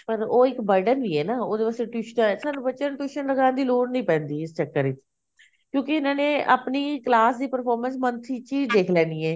ਪਰ ਉਹ ਇੱਕ burden ਈ ਐ ਨਾ ਉਹਦੇ ਵਾਸਤੇ ਟਿਊਸ਼ਨਾ ਸਾਨੂੰ ਬੱਚਿਆ ਨੂੰ tuition ਲਗਾਨ ਦੀ ਲੋੜ ਹੀ ਨੀ ਪੈਂਦੀ ਇਸ ਚੱਕਰ ਵਿਚ ਕਿਉਂਕਿ ਇਹਨਾਂ ਨੇ ਆਪਣੇ class ਦੀ performance month ਵਿਚ ਹੀ ਦੇਖ ਲੈਣੀ ਐ